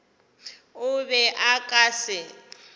o be o ka se